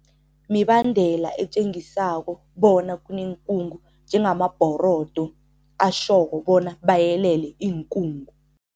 Mibandela etjengisako bona kuneenkungu njengamabhorodo ashoko bona bayelele iinkungu.